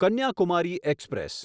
Kanyakumari express